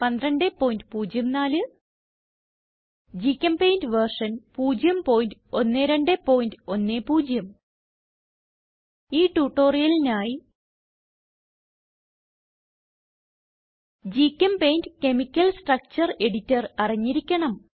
1204 GChemPaint version 01210 ഈ ട്യൂട്ടോറിയലിനായി GChemPaint chemical structure editor അറിഞ്ഞിരിക്കണം